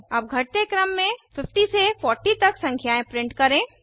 अब घटते क्रम में 50 से 40 तक संख्याएं प्रिंट करें